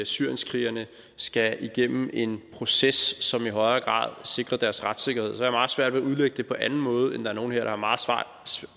syrienskrigerne skal igennem en proces som i højere grad sikrer deres retssikkerhed jeg har meget svært ved at udlægge det på anden måde end at nogle her